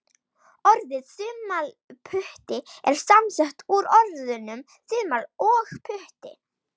Orðið þumalputti er samsett úr orðunum þumall og putti.